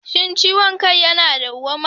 Shin ciwon kai yana dawwama?